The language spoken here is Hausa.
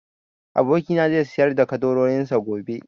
Abokina na zai sayar da ƙaddarorin sa gobe